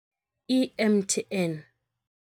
I M_T_N.